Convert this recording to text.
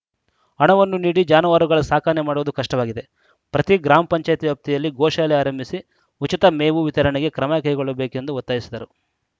ಹಣವನ್ನು ನೀಡಿ ಜಾನುವಾರುಗಳ ಸಾಕಣೆ ಮಾಡುವುದು ಕಷ್ಟವಾಗಿದೆ ಪ್ರತಿ ಗ್ರಾಮ ಪಂಚಾಯತ್ ವ್ಯಾಪ್ತಿಯಲ್ಲಿ ಗೋಶಾಲೆ ಆರಂಭಿಸಿ ಉಚಿತ ಮೇವು ವಿರತಣೆಗೆ ಕ್ರಮ ಕೈಗೊಳ್ಳಬೇಕೆಂದು ಒತ್ತಾಯಿಸಿದರು